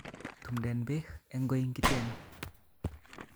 Tumden beek en koinki'ten